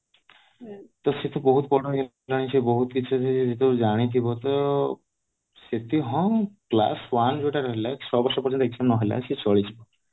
ତ ସେତ ବହୁତ ବଡ ସେତ ଜାଣିଥିବ ତ ସେଠି ହଁ class one ଯୋଉ ଟା ରହିଲା ଛଅ ବର୍ଷ ପର୍ଯ୍ୟନ୍ତ ନ ହେଲା ସେ ଚଳିଯିବ